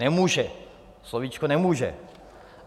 Nemůže, slovíčko nemůže.